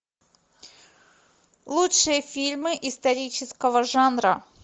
лучшие фильмы исторического жанра